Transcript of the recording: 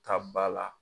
Ta ba la